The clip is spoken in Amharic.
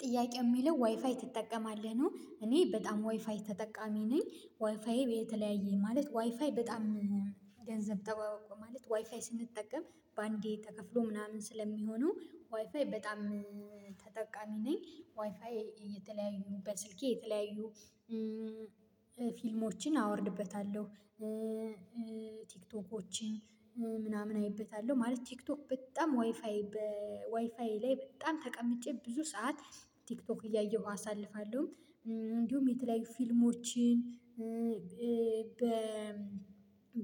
ጥያቄ የሚለው ዋይፋይ ትጠቀማለህ ነው? እኔ በጣም ዋይፋይ ተጠቃሚ ነኝ ዋይፋይ የተለያየ ማለት ዋይፋይ በጣም ገንዘብ ጠባብ አውቆ ማለት ዋይፋይ ስንጠቀም በአንዴ ተከፍሎ ምናምን ስለሚሆነው ዋይፋይ በጣም ተጠቃሚ ነኝ። ዋይፋይ የተለያዩ በስልኬ የተለያዩ ፊልሞችን አወርድበታለሁ። ቲክቶኮችን ምናምን አይበታለሁ ማለት ቲክቶክ በጣም ዋይፋይ ዋይፋይ ላይ በጣም ተቀምጬ ብዙ ሰዓት ቲክቶክ እያየሁ አሳልፋለሁ። እንዲሁም የተለያዩ ፊልሞችን በ